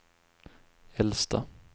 äldsta